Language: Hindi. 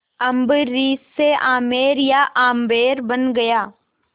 अम्बरीश से आमेर या आम्बेर बन गया